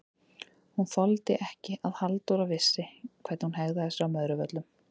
Hún þoldi ekki að Halldóra vissi hvernig hún hegðaði sér á Möðruvöllum!